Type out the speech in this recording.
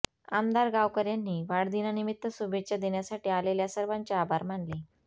आमदार गावकर यांनी वाढदिनानिमित्त शुभेच्छा देण्यासाठी आलेल्या सर्वांचे आभार मानले